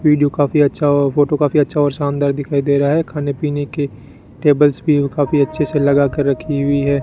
Video काफी अच्छा अ फोटो काफी अच्छा और शानदार दिखाई दे रहा है खाने पीने के टेबल्स भी काफी अच्छे से लगा के रखी हुई है।